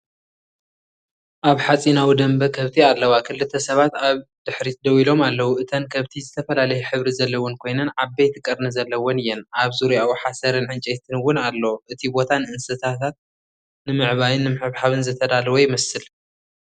ኣብ ሓጺናዊ ደንበ ከብቲ ኣለዋ። ክልተ ሰባት ኣብ ድሕሪት ደው ኢሎም ኣለዉ። እተን ከብቲ ዝተፈላለየ ሕብሪ ዘለወን ኮይነን ዓበይቲ ቀርኒ ዘለወን እየን። ኣብ ዙርያኡ ሓሰርን ዕንጨይትን እውን ኣሎ። እቲ ቦታ ንእንስሳታት ንምዕባይን ንምሕብሓብን ዝተዳለወ ይመስል።